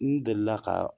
N delila ka